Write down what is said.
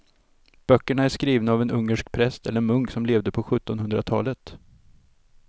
Böckerna är skrivna av en ungersk präst eller munk som levde på sjuttonhundratalet.